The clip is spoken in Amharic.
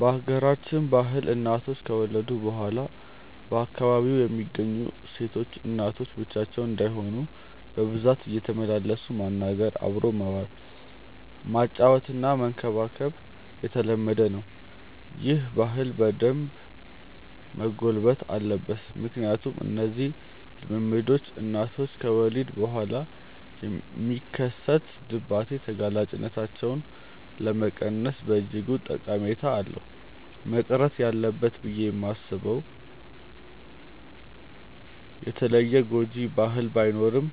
በሀገራችን ባህል እናቶች ከወለዱ በኋላ በአካባቢው የሚገኙ ሴቶች እናቶች ብቻቸውን እንዳይሆኑ በብዛት እየተመላለሱ ማናገር፣ አብሮ መዋል፣ ማጫወትና መንከባከብ የተለመደ ነው። ይህ ባህል በደንብ መጎልበት አለበት ምክንያቱም እነዚህ ልምምዶች እናቶች ከወሊድ በኋላ የሚከሰት ድባቴ ተጋላጭነታቸውን ለመቀነስ በእጅጉ ጠቀሜታ አለው። መቅረት አለበት ብዬ ማስበው የተለየ ጎጂ ባህል ባይኖርም